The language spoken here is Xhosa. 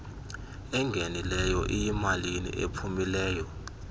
engenileyo iyimalini ephumileyo